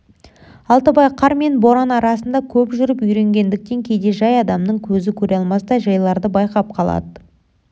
алтыбай қар мен боран арасында көп жүріп үйренгендіктен кейде жай адамның көзі көре алмастай жайларды байқап қалады